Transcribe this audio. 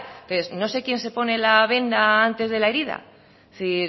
entonces no sé quién se pone la venda antes de le herida es decir